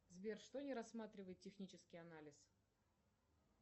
сбер что не рассматривает технический анализ